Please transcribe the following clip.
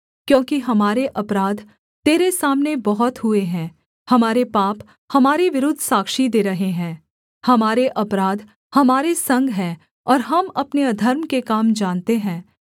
क्योंकि हमारे अपराध तेरे सामने बहुत हुए हैं हमारे पाप हमारे विरुद्ध साक्षी दे रहे हैं हमारे अपराध हमारे संग हैं और हम अपने अधर्म के काम जानते हैं